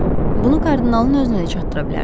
Bunu kardinalın özünə də çatdıra bilərsiz.